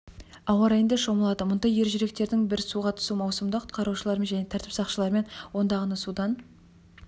ауа райында шомылады мұндай ержүректердің бір суға түсу маусымында құтқарушылармен және тәртіп сақшыларымен ондағаны судан